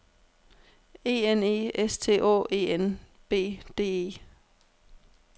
E N E S T Å E N B D E